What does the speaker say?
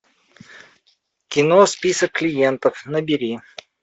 кино список клиентов набери